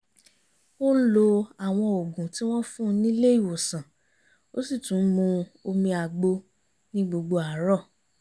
ó ń lo àwọn òògùn tí wọ́n fún nílé ìwòsànó sì tún ń mu omi àgbo ní gbogbo àárọ̀